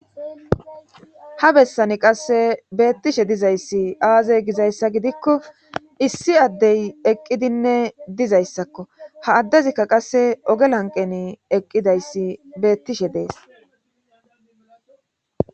ha bessani qasse beettishe dizayssi aaze gizayssa gidikko issi addey eqqidinne dizayssakko ha addezikka qasse ogelanqeni eqqidayssi beettishe dees